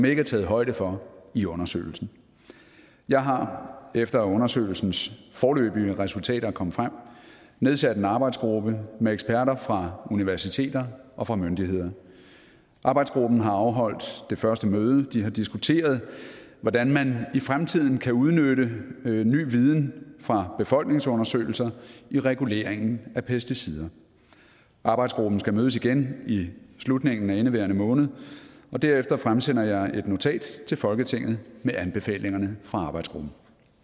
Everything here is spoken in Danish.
ikke er taget højde for i undersøgelsen jeg har efter at undersøgelsens foreløbige resultater er kommet frem nedsat en arbejdsgruppe med eksperter fra universiteter og fra myndigheder arbejdsgruppen har afholdt det første møde og de har diskuteret hvordan man i fremtiden kan udnytte ny viden fra befolkningsundersøgelser i reguleringen af pesticider arbejdsgruppen skal mødes igen i slutningen af indeværende måned og derefter fremsender jeg et notat til folketinget med anbefalingerne fra arbejdsgruppen